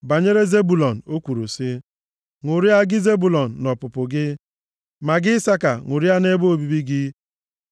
Banyere Zebụlọn, o kwuru sị, “Ṅụrịa, gị Zebụlọn, nʼọpụpụ gị, ma gị Isaka, ṅụrịa nʼebe obibi gị.